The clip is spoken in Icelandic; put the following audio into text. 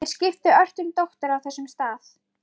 Hún teygir sig til hans og strýkur honum um hárið.